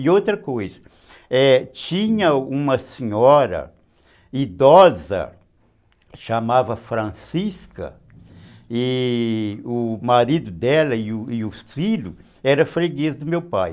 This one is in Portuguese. E outra coisa, é, tinha uma senhora idosa, chamava Francisca, e o marido dela e o filho era freguês do meu pai.